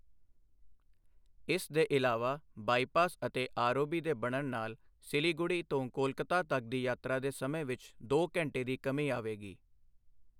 ਇਸ ਦੇ ਇਲਾਵਾ, ਬਾਇਪਾਸ ਅਤੇ ਆਰਓਬੀ ਦੇ ਬਣਨ ਨਾਲ ਸਿਲੀਗੁੜੀ ਤੋਂ ਕੋਲਕਾਤਾ ਤੱਕ ਦੀ ਯਾਤਰਾ ਦੇ ਸਮੇਂ ਵਿੱਚ ਦੋ ਘੰਟੇ ਦੀ ਕਮੀ ਆਵੇਗੀ।